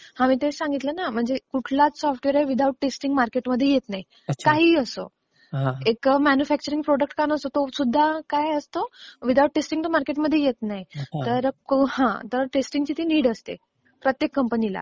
मी तेच सांगितलं ना की कोणताही सॉफ्टवेअर विदाऊट टेस्टिंग मार्केटमध्ये येत नाही. काहीही असो. एक मॅन्युफॅक्चअरिंग प्रॉडक्ट सुद्धा विदाऊट टेस्टिंग तो मार्केटमध्ये येत नाही. तर टेस्टिंग ची ती नीड असते प्रत्येक कंपनीला